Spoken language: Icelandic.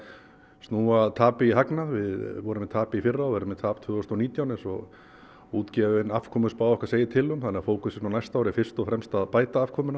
snúa tapi í hagnað við vorum með tap í fyrra og verðum með tap tvö þúsund og nítján eins og útgefin afkomuspá okkar segir til um þannig að fókusinn okkar á næsta ári er fyrst og fremst að bæta afkomuna